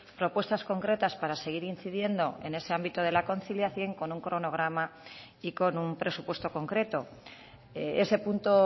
propuestas concretas para seguir incidiendo en ese ámbito de la conciliación con un cronograma y con un presupuesto concreto ese punto